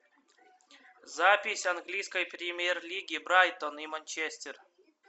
запись английской премьер лиги брайтон и манчестер